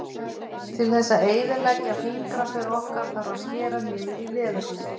Til þess að eyðileggja fingraför okkar þarf að skera niður í leðurhúð.